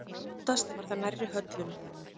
Oftast var það nærri höllunum.